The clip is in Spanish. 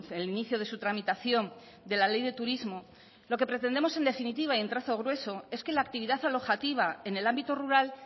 el inicio de su tramitación de la ley de turismo lo que pretendemos en definitiva y en trazo grueso es que la actividad alojativa en el ámbito rural